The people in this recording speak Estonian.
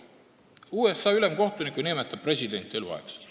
USA ülemkohtuniku nimetab president eluks ajaks.